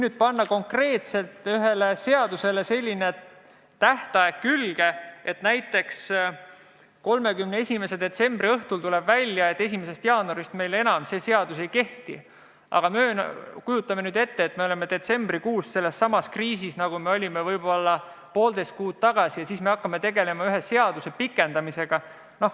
Kui panna konkreetselt ühele seadusele selline tähtaeg külge, et näiteks 31. detsembri õhtul tuleb üks välja ja 1. jaanuarist teine enam ei kehti, siis kujutame nüüd ette, et oleme detsembrikuus sellessamas kriisis, nagu olime võib-olla poolteist kuud tagasi, ja hakkame tegelema ühe seaduse pikendamisega.